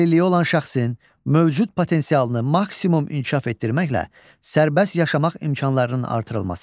Əlilliyi olan şəxsin mövcud potensialını maksimum inkişaf etdirməklə sərbəst yaşamaq imkanlarının artırılması.